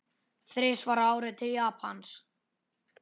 Þrisvar á ári til Japans?